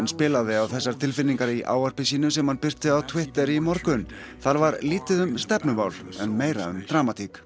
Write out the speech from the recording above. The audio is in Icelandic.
spilaði á þessar tilfinningar í ávarpi sínu sem hann birti á Twitter í morgun þar var lítið um stefnumál meira um dramatík